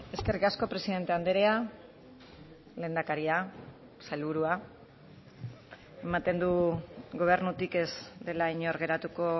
eskerrik asko presidente andrea lehendakaria sailburua ematen du gobernutik ez dela inor geratuko